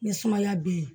Ni sumaya be yen